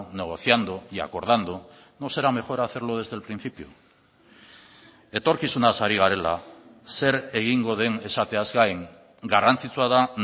negociando y acordando no será mejor hacerlo desde el principio etorkizunaz ari garela zer egingo den esateaz gain garrantzitsua da